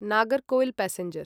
Nagercoil passenger